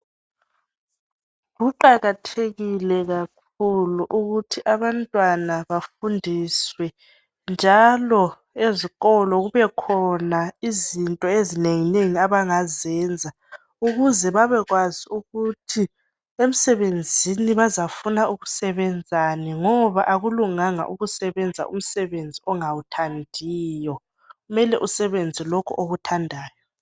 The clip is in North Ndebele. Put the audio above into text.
Kuqakathekile kakhulu ukuthi abantwana bafundiswe njalo ezikolo kubekhona izinto ezinenginengi abangazenza ukuze babekwazi ukuthi emsebenzini bazafuna ukusebenzani ngoba akulunganga ukusebenza umsebenzi ongawuthandiyo kumele usebenze lokho okuthandayo.